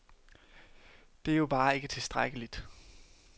Det er jo bare ikke tilstrækkeligt.